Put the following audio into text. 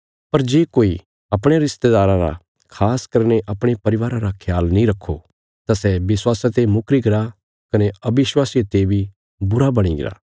पर जे कोई अपणयां रिस्तेदाराँ रा खास करीने अपणे परिवारा रा ख्याल नीं रखो तां सै विश्वासा ते मुकरी गरा कने अविश्वासिये ते बी बुरा बणी गरा